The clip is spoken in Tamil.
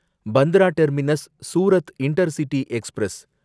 Bandra terminus Surat intercity express